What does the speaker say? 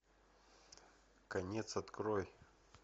конец открой